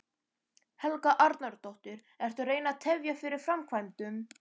Helga Arnardóttir: Ertu að reyna að tefja fyrir framkvæmdum?